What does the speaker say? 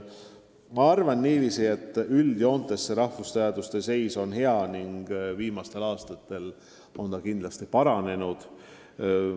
Ma arvan niiviisi, et üldjoontes on rahvusteaduste seis hea ning viimastel aastatel on see kindlasti paranenud.